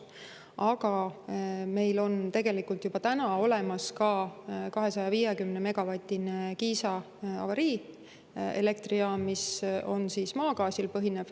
Aga meil on tegelikult juba olemas ka 250-megavatine Kiisa avariielektrijaam, mis põhineb maagaasil.